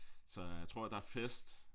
Så jeg tror der er fest